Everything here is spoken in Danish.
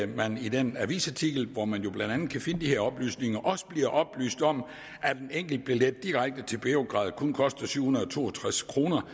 man i den avisartikel hvor man jo blandt andet kan finde de her oplysninger også bliver oplyst om at en enkeltbillet direkte til beograd kun koster syv hundrede og to og tres kroner